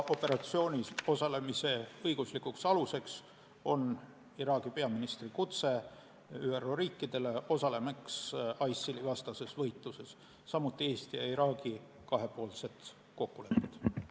Operatsioonis osalemise õiguslik alus on Iraagi peaministri kutse ÜRO riikidele osalemaks ISIL-i vastases võitluses, samuti Eesti ja Iraagi kahepoolsed kokkulepped.